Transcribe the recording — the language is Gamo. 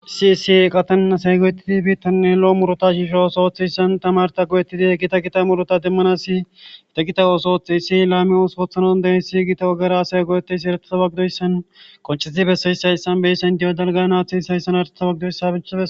Siisi eqatann asay goyettidi biittanne lo'o murota shiisho ooso oththeyssan tamarta goyettidi he gita kita murota demmana si gita gita ooso othxiyisi laami usupoothanon dey siyygiita wagara asay goyetteysi eretaa wagidoyssan qoncheesi beseyssa issanbey sendiyo dalganaathes hayssan arta wagidoyssabiche